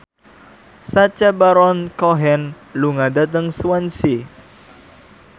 Sacha Baron Cohen lunga dhateng Swansea